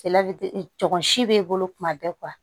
Kɛlɛ bɛ tɔkɔ si b'e bolo tuma bɛɛ